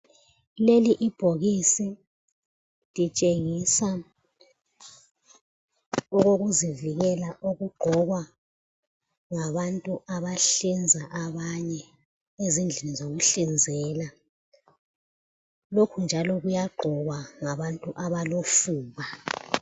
Leli ibhokisi litshengisa okokuzivikela okugqokwa ngabantu abahlinza abanye ezindlini zokuhlinzela, lokhu njalo kuyagqokwa ngabantu abalofuba.